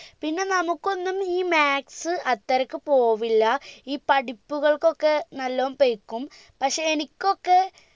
പിന്നെ നമുക്കൊന്നും ഈ maths അത്രക്ക് പോവില്ല ഈ പടിപ്പുകൾക്കൊക്കെ നല്ലോം പൈകും പക്ഷെ എനിക്കൊക്കെ